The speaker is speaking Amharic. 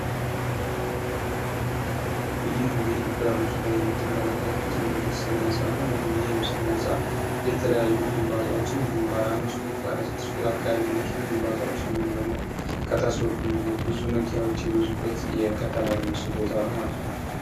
ይህ እንግዲ በምስሉ ላይ የምትመለከቱት እንግዲህ ስለህንጻ እንግዲ ስነ ህንፃ የተለያዩ ግንባታዎችን ባለ 5 ፎቅ ባለ 6 ፎቅ ግንባታዎች ከታች በኩል ደሞ ብዙ መኪናዎች የበዙበት ከተማ የሚመስል ቦታ ነው።